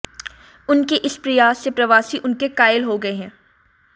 उनके इस प्रयास से प्रवासी उनके कायल हो गए हैं